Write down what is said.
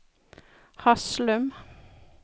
Haslum